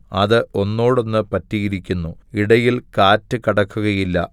അത് ഒന്നോടൊന്ന് പറ്റിയിരിക്കുന്നു ഇടയിൽ കാറ്റുകടക്കുകയില്ല